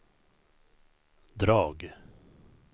drag